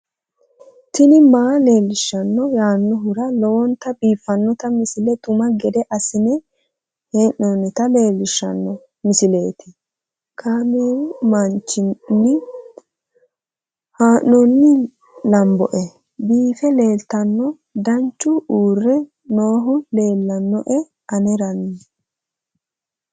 tini maa leelishshanno yaannohura lowonta biiffanota misile xuma gede assine haa'noonnita leellishshanno misileeti kaameru danchunni haa'noonni lamboe biiffe leeeltanno daaniichu uurre noohu leellannoe anera